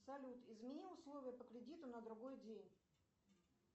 салют измени условия по кредиту на другой день